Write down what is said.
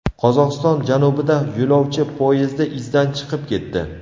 Qozog‘iston janubida yo‘lovchi poyezdi izdan chiqib ketdi.